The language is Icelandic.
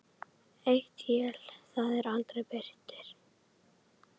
Eitt él það er aldrei birtir.